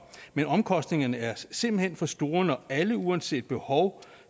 men omkostningerne er simpelt hen for store når alle uanset behov